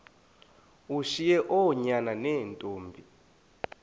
ushiye oonyana neentombi